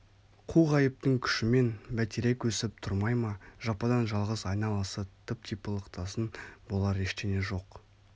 қу ғайыптың күшімен бәйтерек өсіп тұрмай ма жападан жалғыз айналасы тып-типыл ықтасын болар ештеңе жоқ